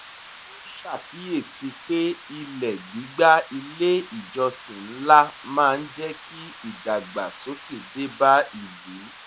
ó ṣàkíyèsí pé ilẹ̀ gbígbà ilé ìjọsìn ńlá máa ń jẹ́ kí ìdàgbàsókè dé bá ìlú